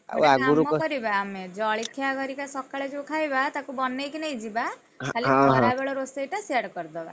ଗୋଟେ କାମ କରିବା ଆମେ ଜଳିଖିଆ ହରିକା ସକାଳେ ଯୋଉ ଖାଇବା ତାକୁ ବନେଇକି ନେଇଯିବା ଖାଲି ଖରାବେଳ ରୋଷେଇଟା ସିଆଡେ କରିଦବା।